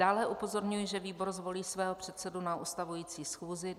Dále upozorňuji, že výbor zvolí svého předsedu na ustavující schůzi.